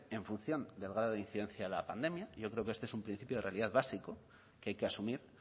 en función del grado de incidencia de la pandemia yo creo que este es un principio de realidad básico que hay que asumir